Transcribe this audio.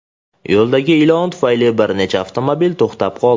Yo‘ldagi ilon tufayli bir necha avtomobil to‘xtab qoldi.